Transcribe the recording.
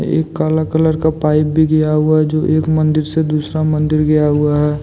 एक काला कलर का पाइप भी गया हुआ है जो एक मंदिर से दूसरा मंदिर गया हुआ है।